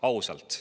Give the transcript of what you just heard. Ausalt.